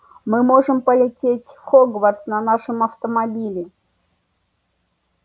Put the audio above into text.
мы можем полететь в хогвартс на нашем автомобиле